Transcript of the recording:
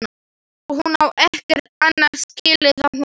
Hún á ekkert annað skilið af honum.